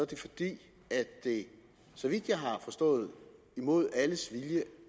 det fordi det så vidt jeg har forstået mod alles vilje